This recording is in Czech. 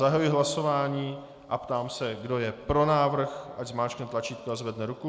Zahajuji hlasování a ptám se, kdo je pro návrh, ať zmáčkne tlačítko a zvedne ruku.